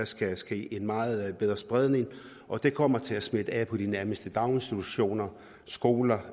skal der ske en meget bedre spredning og det kommer til at smitte af på de nærmeste daginstitutioner skoler